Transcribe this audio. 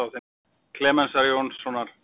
Klemensar Jónssonar leikara.